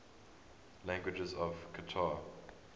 languages of qatar